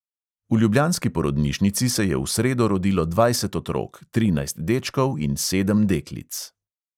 V ljubljanski porodnišnici se je v sredo rodilo dvajset otrok, trinajst dečkov in sedem deklic.